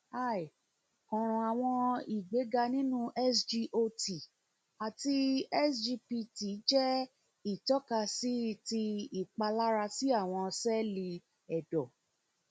hi karan awọn igbega ninu sgot ati sgpt jẹ itọkasi sgpt jẹ itọkasi ti ipalara si awọn sẹẹli ẹdọ